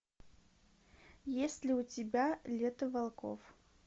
есть ли у тебя лето волков